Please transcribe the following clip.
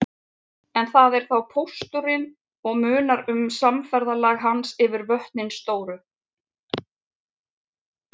En það er þá pósturinn og munar um samferðalag hans yfir vötnin stóru.